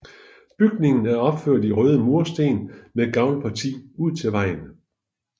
Bygningen er opført i røde mursten med gavlparti ud til vejen